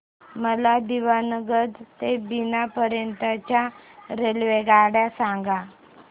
मला दीवाणगंज ते बिना पर्यंत च्या रेल्वेगाड्या सांगा